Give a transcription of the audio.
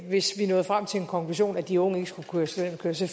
hvis vi nåede frem til den konklusion at de unge ikke skulle køre studenterkørsel